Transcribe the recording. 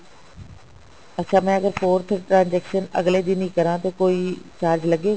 ਅੱਛਾ ਮੈਂ ਅਗਰ forth transaction ਅਗਲੇ ਦਿਨ ਹੀ ਕਰਾਂ ਤਾਂ ਕੋਈ charge ਲੱਗੇਗਾ